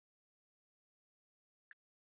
Eru sammála þessu vali?